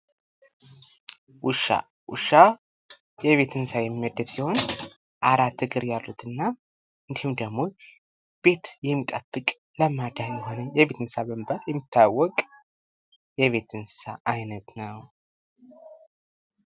ውሻ፡- ውሻ ከቤት እንስሳ የሚመደብ ሲሆን ፤ አራት እግር ያሉትና እንዲሁም ደግሞ ቤት የሚጠብቅ ለማዳ የሆነ የቤት እንስሳ በመባል የሚታወቅ የቤት እንስሳ አይነት ነው።